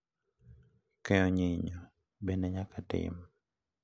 Keyo nyinyo be ne nyaka tim.